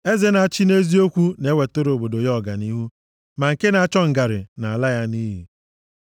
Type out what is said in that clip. Eze na-achị nʼeziokwu na-ewetara obodo ya ọganihu, ma nke na-achọ ngarị na-ala ya nʼiyi.